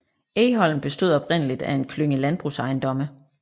Egholm bestod oprindeligt af en klynge landbrugsejendomme